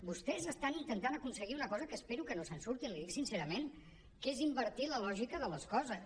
vostès estan intentant aconseguir una cosa que espero que no se’n surtin l’hi dic sincerament que és invertir la lògica de les coses